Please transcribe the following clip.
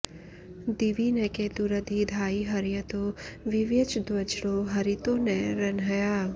दि॒वि न के॒तुरधि॑ धायि हर्य॒तो वि॒व्यच॒द्वज्रो॒ हरि॑तो॒ न रंह्या॑